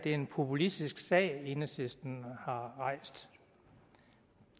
en populistisk sag enhedslisten har rejst